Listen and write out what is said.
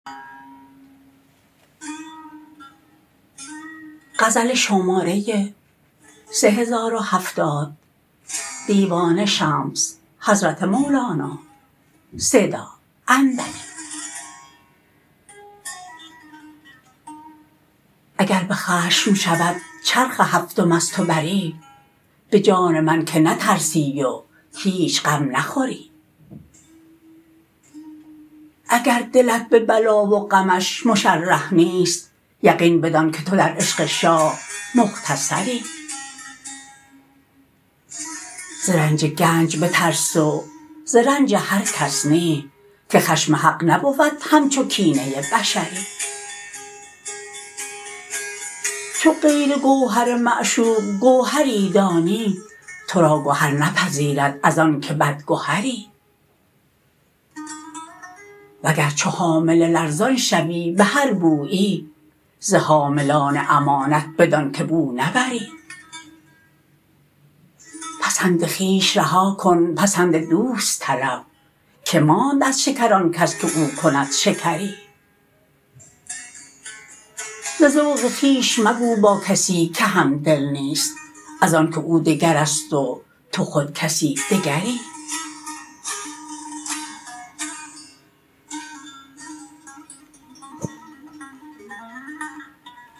اگر به خشم شود چرخ هفتم از تو بری به جان من که نترسی و هیچ غم نخوری اگر دلت به بلا و غمش مشرح نیست یقین بدانک تو در عشق شاه مختصری ز رنج گنج بترس و ز رنج هر کس نی که خشم حق نبود همچو کینه بشری چو غیر گوهر معشوق گوهری دانی تو را گهر نپذیرد ازانک بدگهری وگر چو حامله لرزان شوی به هر بویی ز حاملان امانت بدانک بو نبری پسند خویش رها کن پسند دوست طلب که ماند از شکر آن کس که او کند شکری ز ذوق خویش مگو با کسی که همدل نیست ازانک او دگرست و تو خود کسی دگری